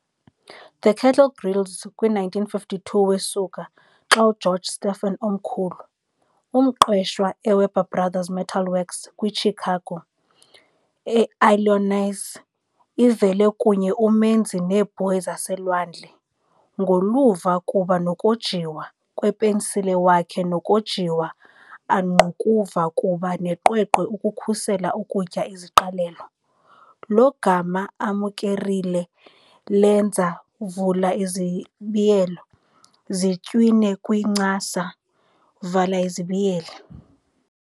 The Kettle Grills kwi 1952 Wesuka xa George Stephen Omkhulu, umqeshwa eWeber Brothers Metal Works kwi eChicago, Illinois, ivele kunye umenzi neebhoyi zaselwandle, ngoluvo kuba nokojiwa. kwepensile wakhe nokojiwa angqukuva kuba neqweqwe ukukhusela ukutya iziqalelo, lo gama amukerile lenza zitywine kwincasa.